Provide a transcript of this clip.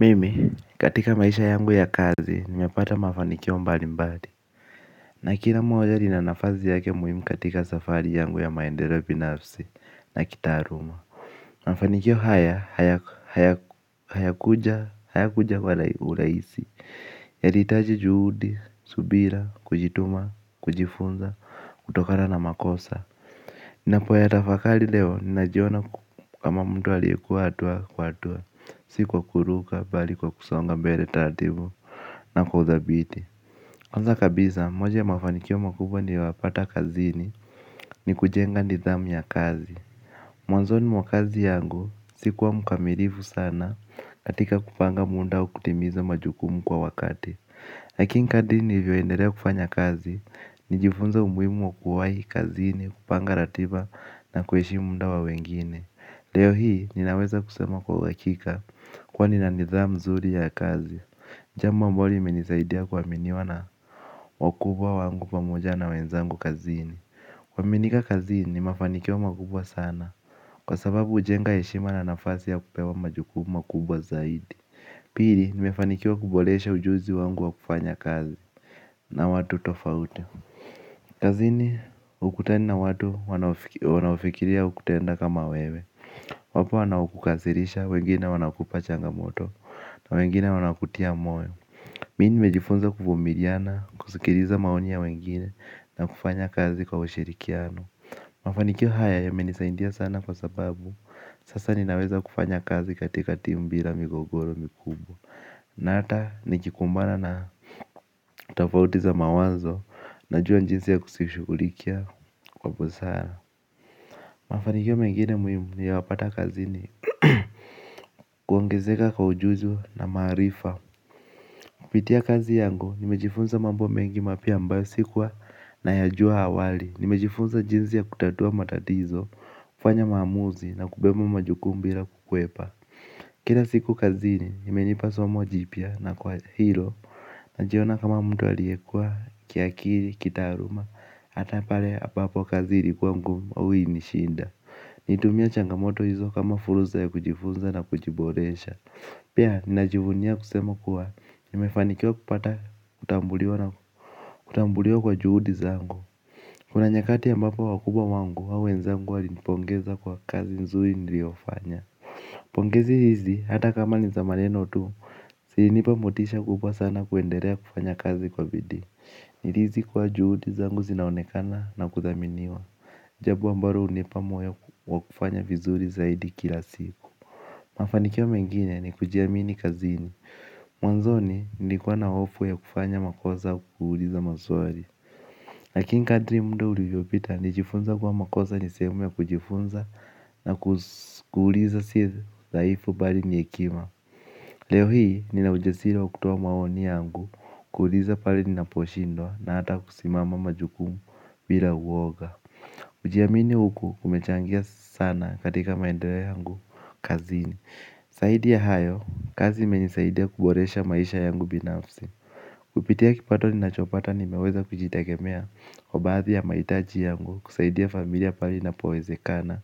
Mimi katika maisha yangu ya kazi nimepata mafanikio mbalimbali. Na kila moja lina nafasi yake muhimu katika safari yangu ya maendeleo binafsi na kitaaluma. Mafanikio haya haya kuja kwa urahisi. Yalihitaji juhudi, subira, kujituma, kujifunza, kutokana na makosa ninapoyatafakari leo, ninajiona kama mtu aliyekua hatua kwa hatua, si kwa kuruka, bali kwa kusonga mbele taratibu na kwa uthabiti. Kwanza kabisa, moja ya mafanikio makubwa nimepata kazini, ni kujenga nidhamu ya kazi. Mwanzoni mwa kazi yangu, si kuwa mkamilifu sana, katika kupanga muda wa kutimiza majukumu kwa wakati. Lakini kadri nilivyoendelea kufanya kazi, nilijifunza umuhimu wa kuwahi kazini, kupanga ratiba na kuheshimu muda wa wengine. Leo hii ninaweza kusema kwa uhakika kwani nina nidhamu mzuri ya kazi. Jambo ambalo limenisaidia kuaminiwa na wakubwa wangu pamoja na wenzangu kazini kuaaminika kazini ni mafanikio makubwa sana kwa sababu hujenga heshima na nafasi ya kupewa majukumu makubwa zaidi. Pili nimefanikiwa kuboresha ujuzi wangu wakufanya kazi na watu tofauti. Kazini, hukutani na watu wanaofikiria kutenda kama wewe. Wapo wanao kukasirisha, wengine wanakupa changamoto na wengine wanakutia moyo. Mimi nimejifunza kuvumiliana, kusikiliza maoni ya wengine na kufanya kazi kwa ushirikiano. Mafanikio haya yamenisaidia sana kwa sababu sasa ninaweza kufanya kazi katika timu bila migogoro mikubwa. Na hata nikikumbana na tofauti za mawazo najua jinsi ya kuzishughulikia kwa busara. Mafanikio mengine muhimu nimepata kazini kuongezeka kwa ujuzi na maarifa. Kupitia kazi yangu nimejifunza mambo mengi mapya ambayo sikuwa nayajua awali. Nimejifunza jinsi ya kutatua matatizo, kufanya maamuzi na kubeba majukumu bila kukwepa. Kila siku kazini imenipa somo jipya na kwa hilo najiona kama mtu aliyekua kiakili, kitaaluma, hata pale ambapo kazi ilikuwa ngumu au ilinishinda. Natumia changamoto hizo kama fursa ya kujifunza na kujiboresha. Pia, ninajivunia kusema kuwa, nimefanikiwa kupata kutambuliwa kwa juhudi zangu. Kuna nyakati ambapo wakubwa wangu, au wenzangu walinipongeza kwa kazi nzuri niliyofanya. Pongezi hizi hata kama ni za maneno tu zilinipa motisha kubwa sana kuendelea kufanya kazi kwa bidii. Nilihisi kuwa juhudi zangu zinaonekana na kuthaminiwa. Jambo ambalo hunipa moyo wa kufanya vizuri zaidi kila siku. Mafanikio mengine nikujiamini kazini. Mwanzoni nilikuwa na hofu ya kufanya makosa kuuliza maswali lakini kadri muda ulivyopita nilijifunza kuwa makosa ni sehemu ya kujifunza na kuuliza si udhaifu bali ni hekima. Leo hii nina ujasiri wa kutoa maoni yangu kuuliza pahali ninaposhindwa na hata kusimama majukumu bila uwoga kujiamini huku kumechangia sana katika maendeleo yangu kazini zaidi ya hayo kazi imenisaidia kuboresha maisha yangu binafsi. Kupitia kipato ninachopata nimeweza kujitegemea kwa baadhi ya mahitaji yangu kusaidia familia pahali inapowezekana